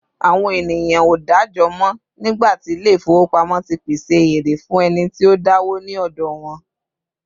àwọn ènìyàn o da'jọ mọ, nigba ti ilé ifowópamọ́ ti pèsè eré fún ẹni tí o dawo ní òdò wan